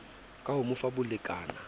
ka ho mo fa bolekana